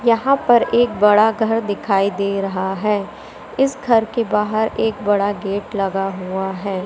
यहां पर एक बड़ा घर दिखाई दे रहा है इस घर के बाहर एक बड़ा गेट लगा हुआ है।